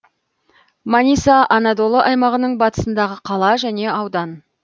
маниса анадолы аймағының батысындағы қала және аудан